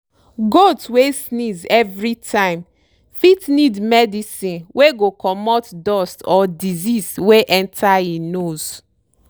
goat wey sneeze everytime fit need medicine wey go comot dust or disease wey enter e nose.